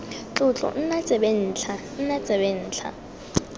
tlotlo nna tsebentlha nna tsebentlha